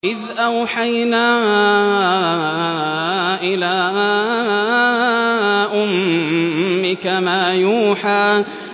إِذْ أَوْحَيْنَا إِلَىٰ أُمِّكَ مَا يُوحَىٰ